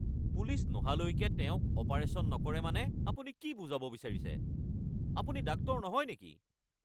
Police নহালৈকে তেওঁক operation নকৰে মানে আপুনি কি বুজাব বিচাৰিছে? আপুনি ডাক্তৰ নহয় নেকি?